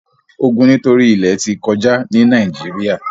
ogun nitori ilẹ ti kọja ni Nàìjíríà